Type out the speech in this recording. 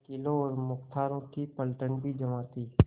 वकीलों और मुख्तारों की पलटन भी जमा थी